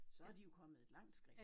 Så de jo kommet et langt skridt